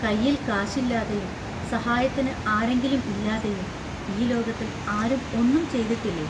കൈയിൽ കാശില്ലാതെയും സഹായത്തിന് ആരെങ്കിലും ഇല്ലാതെയും ഈ ലോകത്തിൽ ആരും ഒന്നും ചെയ്തിട്ടില്ലേ?